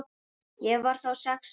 Ég var þá sex ára.